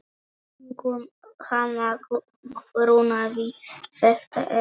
Hana grunaði þetta ekki.